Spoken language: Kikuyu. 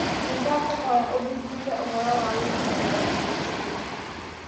Nĩ ndakũhoya ũthuthurie ũhoro wa rũni mbere ya gwĩtĩkĩra.